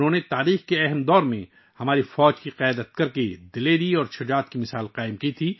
انھوں نے تاریخ کے ایک اہم دور میں ہماری فوج کی قیادت کرکے جرات اور بہادری کی مثال قائم کی